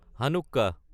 Hanukkah